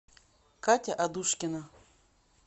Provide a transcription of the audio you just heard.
катя адушкина